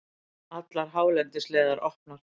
Allar hálendisleiðir opnar